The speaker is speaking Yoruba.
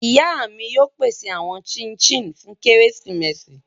Iya mi yóò pese awọn chik chin fun keresimesi